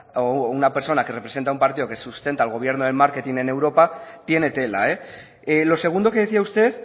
o una persona que representa a un partido que sustenta al gobierno en marketing en europa tiene tela lo segundo que decía usted